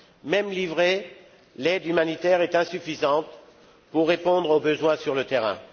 Même livrée, l'aide humanitaire est insuffisante pour répondre aux besoins sur le terrain.